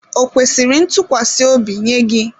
Ò kwesịrị ntụkwasị obi nye gị?